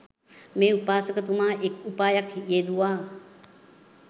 මේ උපාසකතුමා එක් උපායක් යෙදුවා.